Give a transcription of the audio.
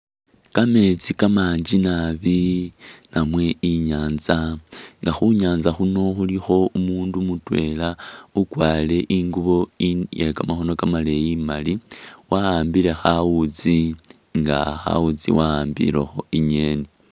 Kametsi kamangi nabi namwe inyanza nga khunyanza khuno khulikho umundu mutwela ukwarire ingubo iye kamakhono kamaleyi imali, wa ambile khawutsi nga khawutsi wawambilekho inyeni.